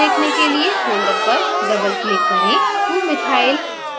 folder की विषयवस्तु देखने के लिए folder पर double click करें